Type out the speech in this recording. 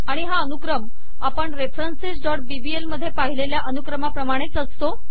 आणि हा अनुक्रम आपण referencesबीबीएल मध्ये पाहिलेल्या अनुक्रमाप्रमाणेच असतो